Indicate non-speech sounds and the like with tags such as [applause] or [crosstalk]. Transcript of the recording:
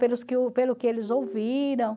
Pelos que [unintelligible] pelo que eles ouviram.